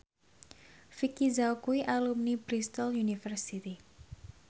Vicki Zao kuwi alumni Bristol university